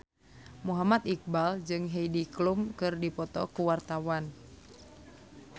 Muhammad Iqbal jeung Heidi Klum keur dipoto ku wartawan